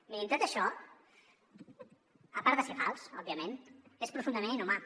mirin tot això a part de ser fals òbviament és profundament inhumà